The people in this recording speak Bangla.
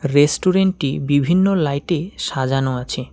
রেস্টুরেন্ট -টি বিভিন্ন লাইট -এ সাজানো আছে।